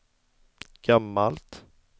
gammalt